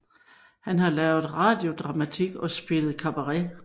Han har lavet radiodramatik og spillet cabaret